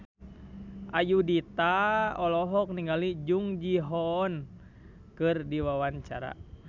Ayudhita olohok ningali Jung Ji Hoon keur diwawancara